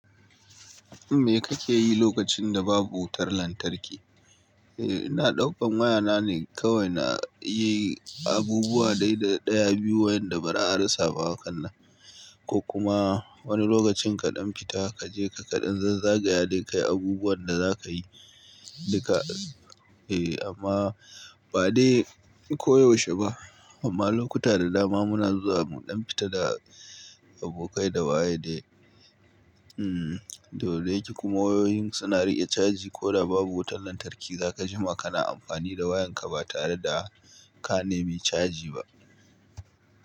Me kake yi lokacin da babu wutar lantarki? Eh, ina ɗaukan wayana ne. Kawai na yi abubuwa dai ɗaya-biyu wa yanda ba za'a rasa ba hakan nan. Ko kuma wani lokacin kaɗan fita kaje ka kaɗan zazzagaya dai kayi abubuwan da za ka yi. Duka eh, amma ba dai koyaushe ba. Amma lokuta da dama muna zuwa muɗan fita da abokai da waye dai. Hmmm, dole ki kuma wayoyin suna riƙe caji ko da babu wutar lantarki. Za ka ji ma kana amfani da wayanka ba tare da ka nemi caji ba.